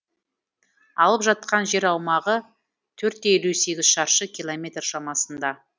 алып жатқан жер аумағы төрт те елу екі шаршы километр шамасында